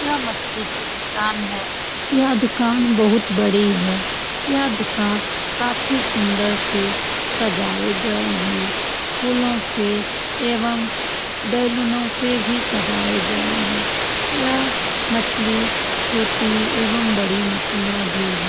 यह मछली की दुकान है । यह दुकान बहुत बड़ी हैं । यह दुकान काफी सुंदर से सजाए गए हैं । फूलों से एवं बैलूनो से भी सजाए गए हैं । यह मछली छोटी एवं बड़ी मछलियाँ भी है।